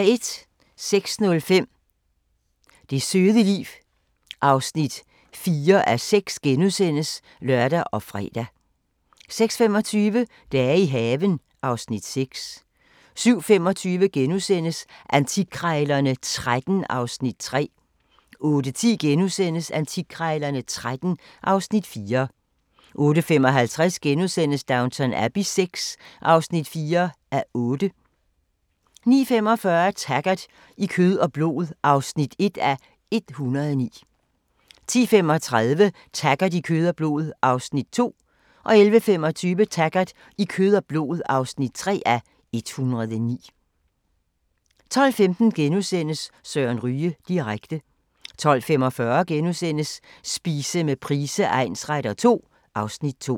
06:05: Det søde liv (4:6)*(lør og fre) 06:25: Dage i haven (Afs. 6) 07:25: Antikkrejlerne XIII (Afs. 3)* 08:10: Antikkrejlerne XIII (Afs. 4)* 08:55: Downton Abbey VI (4:8)* 09:45: Taggart: I kød og blod (1:109) 10:35: Taggart: I kød og blod (2:109) 11:25: Taggart: I kød og blod (3:109) 12:15: Søren Ryge direkte * 12:45: Spise med Price egnsretter II (Afs. 2)*